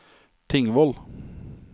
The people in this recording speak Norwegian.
Tingvoll